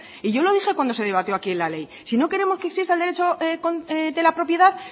y yo lo dije cuando se debatió aquí la ley si no queremos que exista el derecho de la propiedad